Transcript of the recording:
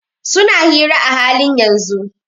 Suna hira a halin yanzun.